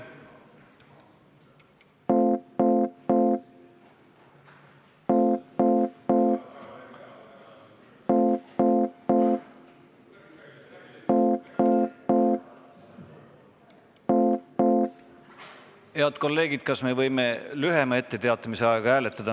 Head kolleegid, kas me võime lühema etteteatamise ajaga hääletada?